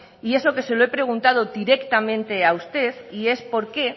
y eso que se lo he preguntado directamente a usted y es por qué